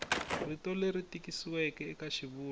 rito leri tikisiweke eka xivulwa